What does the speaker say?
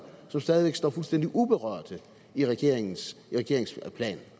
som stadig væk står fuldstændig uberørte i regeringens plan